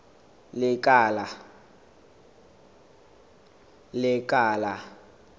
lekala